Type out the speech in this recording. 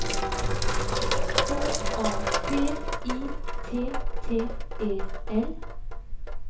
K A P I T T E L